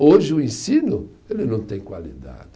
Hoje o ensino, ele não tem qualidade.